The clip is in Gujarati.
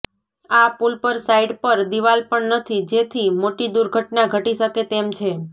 આ પુલ પર સાઇડ પર દિવાલ પણ નથી જેથી મોટી દુર્ઘટના ઘટી શકે તેમ છે